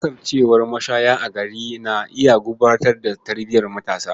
Kasancewar mashaya a gari na iya gurɓata tarbiyar matasa.